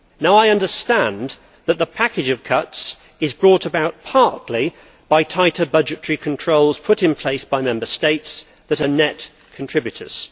I understand that the package of cuts is brought about partly by tighter budgetary controls put in place by Member States that are net contributors.